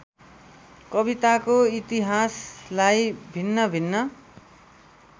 कविताको इतिहासलाई भिन्नभिन्न